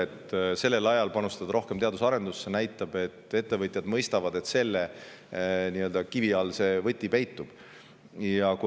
Nii et see, kui sellisel ajal on panustatud rohkem teadus- ja arendustegevusse, näitab, et ettevõtjad mõistavad, kus kivi all võti peitub.